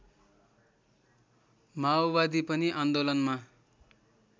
माओवादी पनि आन्दोलनमा